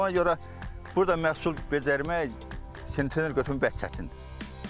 Ona görə burda məhsul üzərmək sentner götürmək çətindir.